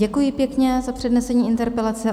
Děkuji pěkně za přednesení interpelace.